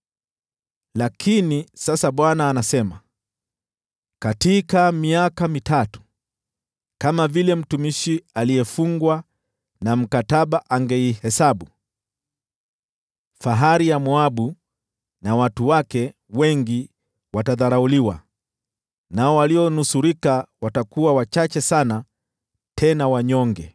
Lakini sasa Bwana anasema: “Katika miaka mitatu, kama vile mtumishi aliyefungwa na mkataba angeihesabu, fahari ya Moabu na watu wake wengi watadharauliwa, nao walionusurika watakuwa wachache sana, tena wanyonge.”